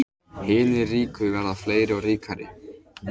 Hinir ríku verða fleiri og ríkari